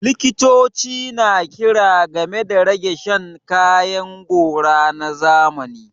Likitoci na kira game da rage shan kayan gora na zamani